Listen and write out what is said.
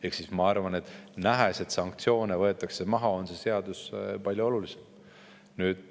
Ehk ma arvan, et nüüd, nähes, et sanktsioone võetakse maha, on see seadus veel palju olulisem.